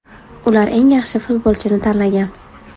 Ular eng yaxshi futbolchini tanlagan.